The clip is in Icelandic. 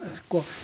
sko